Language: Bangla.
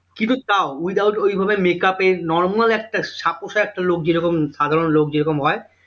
কিন্তু তাও without ওইভাবে makeup এ normal একটা ছাপোষা একটা লোক যেরকম সাধারণ লোক যেরকম হয়